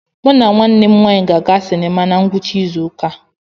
Mụ na nwanne m nwanyị ga-aga sinima na ngwụcha izu ụka a.